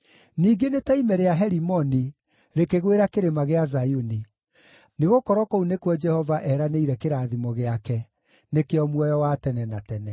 Ningĩ nĩ ta ime rĩa Herimoni rĩkĩgwĩra Kĩrĩma gĩa Zayuni. Nĩgũkorwo kũu nĩkuo Jehova eranĩire kĩrathimo gĩake, nĩkĩo muoyo wa tene na tene.